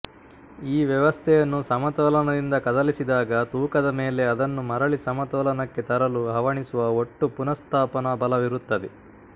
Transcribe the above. ಈ ವ್ಯವಸ್ಥೆಯನ್ನು ಸಮತೋಲನದಿಂದ ಕದಲಿಸಿದಾಗ ತೂಕದ ಮೇಲೆ ಅದನ್ನು ಮರಳಿ ಸಮತೋಲನಕ್ಕೆ ತರಲು ಹವಣಿಸುವ ಒಟ್ಟು ಪುನಃಸ್ಥಾಪನ ಬಲವಿರುತ್ತದೆ